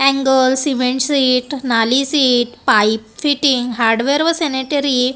angle cement sheet नाली sheet pipe fitting hardware व sanitary --